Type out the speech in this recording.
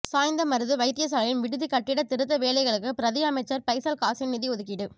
சாய்ந்தமருது வைத்திய சாலையின் விடுதி கட்டிட திருத்த வேலைகளுக்கு பிரதி அமைச்சர் பைசல் காசிம் நிதி ஒதுக்கீடு